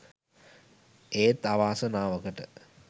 ඒත් අවාසනාවකට